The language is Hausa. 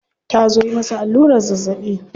Ta zo yi masa allurar zazzabi.